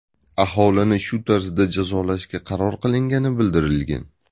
Aholini shu tarzda jazolashga qaror qilingani bildirilgan.